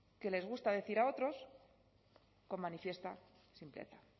que les gusta decir a otros con manifiesta simpleza